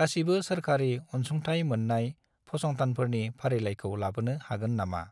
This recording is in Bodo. गासिबो सोरखारि अनसुंथाइ मोन्नाय फसंथानफोरनि फारिलाइखौ लाबोनो हागोन नामा?